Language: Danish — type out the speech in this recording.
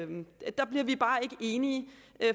der bliver vi bare ikke enige